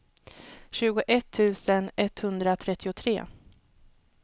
tjugoett tusen etthundratrettiotre